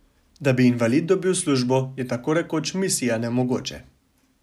Da bi invalid dobil službo, je tako rekoč misija nemogoče.